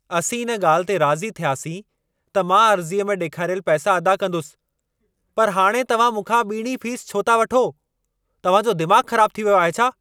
असीं इन ॻाल्हि ते राज़ी थियासीं त मां अर्ज़ीअ में ॾेखारियल पैसा अदा कंदुसि। पर हाणे तव्हां मूंखा ॿीणी फीस छो था वठो? तव्हां जो दिमाग़ खराब थी वियो आहे छा?